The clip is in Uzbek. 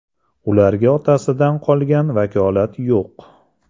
Ularga otasidan qolgan vakolat yo‘q.